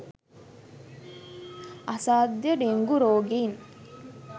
අසාධ්‍ය dengue රෝගීන්